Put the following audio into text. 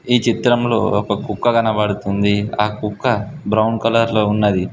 ఈ చిత్రంలో ఒక కుక్క కనబడుతుంది ఆ కుక్క బ్రౌన్ కలర్ లో ఉన్నది.